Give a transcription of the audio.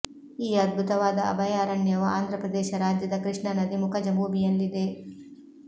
ಈ ಅದ್ಭುತವಾದ ಅಭಯಾರಣ್ಯವು ಆಂಧ್ರ ಪ್ರದೇಶ ರಾಜ್ಯದ ಕೃಷ್ಣಾ ನದಿ ಮುಖಜ ಭೂಮಿಯಲ್ಲಿದೆ